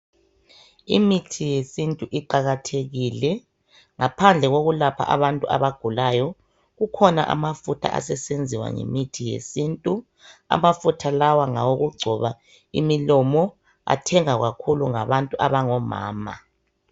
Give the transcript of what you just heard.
Imithi yesintu iqakathekile. Ngaphandle kokulapha abantu abagulayo, kokhona amafutha asesenziwa ngemithi yesintu. Amafutha lawa ngawokugcoba imilomo, athengwa kakhulu ngabantu abangomama.